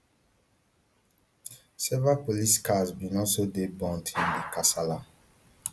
several police cars bin also dey burnt in di kasala